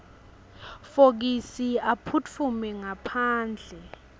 fokisi aphutfume ngaphandle